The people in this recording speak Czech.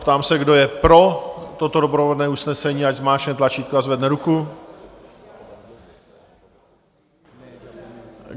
Ptám se, kdo je pro toto doprovodné usnesení, ať zmáčkne tlačítko a zvedne ruku.